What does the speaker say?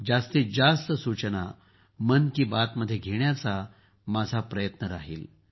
जास्तीत जास्त सूचना मन की बातमध्ये घेण्याचा माझा प्रयत्न राहील